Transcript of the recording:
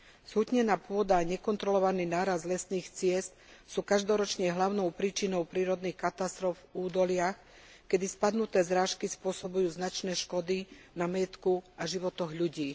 Zhutnená pôda, nekontrolovaný nárast lesných ciest sú každoročne hlavnou príčinou prírodných katastrof v údoliach, keď spadnuté zrážky spôsobujú značné škody na majetku a životoch ľudí.